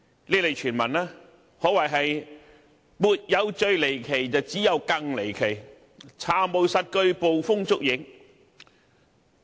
這類傳聞可謂"沒有最離奇，只有更離奇"，並無實據，只是捕風捉影。